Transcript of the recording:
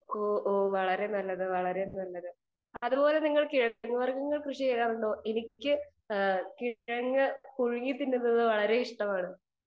speaker 2 ഓഹ് ഓഹ് വളരെ നല്ലത് വളരെ നല്ലത് അതുപോല നിങ്ങൾ കിഴങ്ങുവർഗ്ഗങ്ങൾ എനിക്ക് കൃഷി ചെയ്യാറുണ്ടോ എനിക്ക് കിഴങ്ങു പുഴുങ്ങി തിന്നുന്നത് വളരെ ഇഷ്ടമാണ്